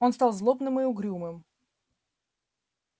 он стал злобным и угрюмым